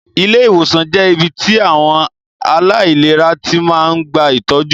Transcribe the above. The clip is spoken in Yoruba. Ilé ìwòsàn jẹ́ ibí tí àwọn aláìlera tí máa ń gba ìtọ́jú